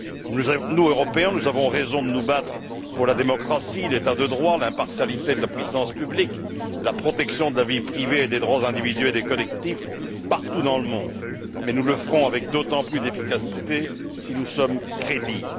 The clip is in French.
Nous, Européens, avons raison de nous battre pour la démocratie, l'état de droit, l'impartialité de la puissance publique, la protection de la vie privée et des droits individuels et collectifs partout dans le monde. Mais nous le ferons avec d'autant plus d'efficacité si nous sommes crédibles.